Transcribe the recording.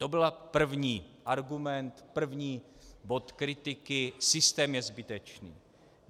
To byl první argument, první bod kritiky - systém je zbytečný.